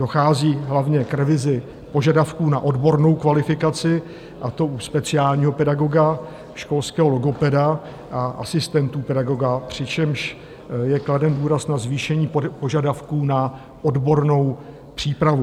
Dochází hlavně k revizi požadavků na odbornou kvalifikaci, a to u speciálního pedagoga, školského logopeda a asistentů pedagoga, přičemž je kladen důraz na zvýšení požadavků na odbornou přípravu.